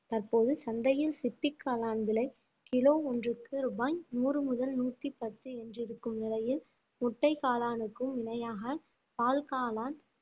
தற்போது சந்தையில் சிப்பிக் காளான் விலை கிலோ ஒன்றுக்கு ரூபாய் நூறு முதல் நூத்தி பத்து என்று இருக்கும் நிலையில் முட்டைக் காளானுக்கும் இணையாக பால் காளான்